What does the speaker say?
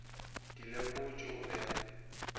di lekotše o be a